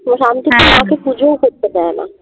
তো শান্তিতে মা কে পুজোও করতে দেয় না